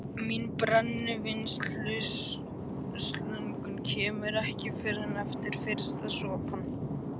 Mín brennivínslöngun kemur ekki fyrr en eftir fyrsta sopann.